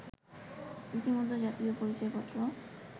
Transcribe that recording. ইতিমধ্যে জাতীয় পরিচয়পত্র